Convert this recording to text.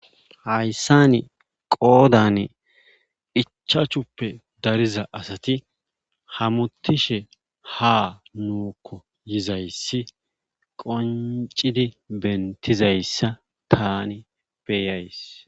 hayssani qoodan ichaachuppe dariza asati hamutishe ha nuukko yizayssi qoncidi bentizayssa tani beeyays